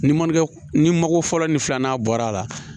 Ni mankɛ ni mako fɔlɔ ni filanan bɔra a la